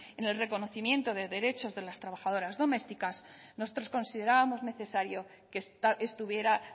en el reconocimiento de derechos de la trabajadoras domésticas nosotros considerábamos necesario que estuviera